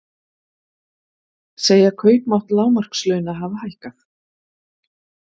Segja kaupmátt lágmarkslauna hafa hækkað